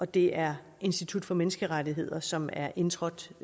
det er institut for menneskerettigheder som er indtrådt